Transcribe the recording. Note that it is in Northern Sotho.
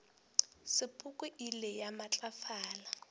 sepoko e ile ya matlafala